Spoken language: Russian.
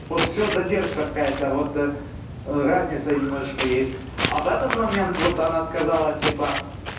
вот все задержка какая-то вот разница немножко есть а в этот момент вот она сказала типа